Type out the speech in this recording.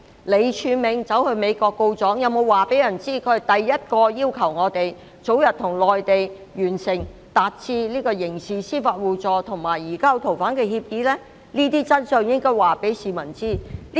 李柱銘到美國告狀，但他有否告訴大家第一個要求我們早日與內地達成刑事司法互助和移交逃犯協議的人是誰？